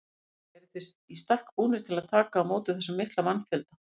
Gísli: Eruð þið í stakk búnir til að taka á móti þessum mikla mannfjölda?